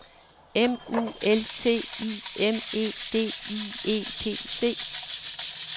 M U L T I M E D I E P C